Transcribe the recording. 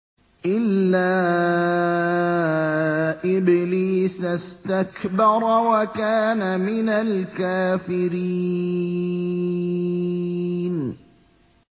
إِلَّا إِبْلِيسَ اسْتَكْبَرَ وَكَانَ مِنَ الْكَافِرِينَ